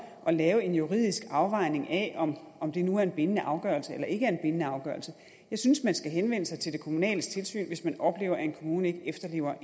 at lave en juridisk afvejning af om om det nu er en bindende afgørelse eller ikke er en bindende afgørelse jeg synes man skal henvende sig til det kommunale tilsyn hvis man oplever at en kommune ikke efterlever